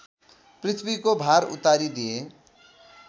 पृथ्वीको भार उतारिदिए